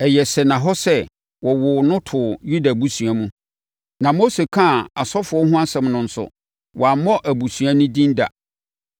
Ɛyɛ sɛnnahɔ sɛ wɔwoo no too Yuda abusua mu, na Mose kaa asɔfoɔ ho asɛm no nso, wammɔ nʼabusua din da.